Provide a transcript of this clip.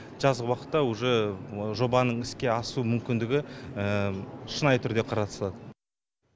жазғы уақытта уже жобаның іске асу мүмкіндігі шынайы түрде қарастырылады